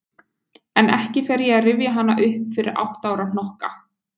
En ekki fer ég að rifja hana upp fyrir átta ára hnokka.